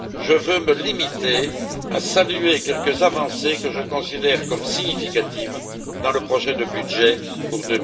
Je veux me limiter à saluer quelques avancées que je considère comme significatives dans le projet de budget pour